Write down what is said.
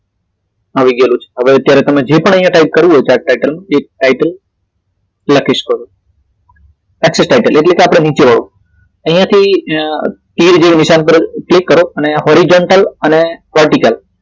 આવી ગયેલું છે હવે અત્યારે જે પણ અહી ટાઇપ કરવું છે chart title એ title લખી શકો છો x title એટલે કે આપડું નીચે વાળું અહિયાંથી ધીરે ધીરે નિશાન પર ક્લિક કરો અને અહી horizontal અને vertical